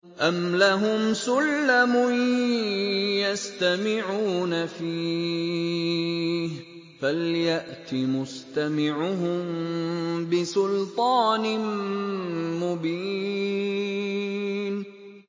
أَمْ لَهُمْ سُلَّمٌ يَسْتَمِعُونَ فِيهِ ۖ فَلْيَأْتِ مُسْتَمِعُهُم بِسُلْطَانٍ مُّبِينٍ